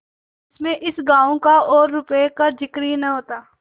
जिसमें इस गॉँव का और रुपये का जिक्र ही न होता